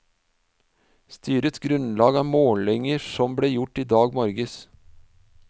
Styrets grunnlag er målinger som ble gjort i dag morges.